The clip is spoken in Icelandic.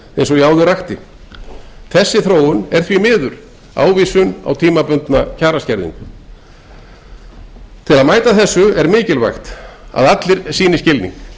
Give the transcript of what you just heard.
ég áður rakti þessi þróun er ávísun á tímabundna kjaraskerðingu til að mæta þessu er mikilvægt að allir sýni skilning